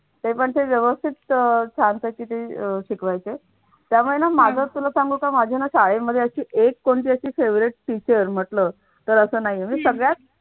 ते पण ते व्यवस्थित अह ते छानपैकी ते शिकवायचे त्यामुळे ना माग तुला सांगू का माझ्या शाळेमध्ये कोणती अशी favorite teacher म्हटलं तर असं नाहीये. म्हणजे सगळ्यात